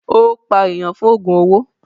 Ó pa èèyàn fún ògùn owó.